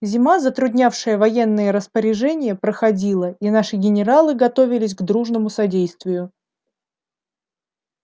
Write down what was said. зима затруднявшая военные распоряжения проходила и наши генералы готовились к дружному содействию